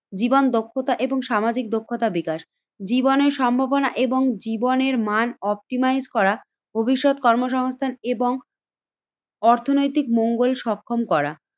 জীবন দক্ষতা এবং সামাজিক দক্ষতা বিকাশ। জীবনের সম্ভাবনা এবং জীবনের মান অপটিমাইজ করা ভবিষ্যৎ কর্মসংস্থান এবং অর্থনৈতিক মঙ্গল সক্ষম করা।